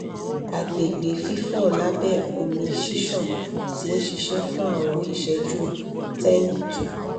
agbegbe fifọ labẹ omi ṣiṣan ti nṣiṣẹ fun awọn iṣẹju 10 2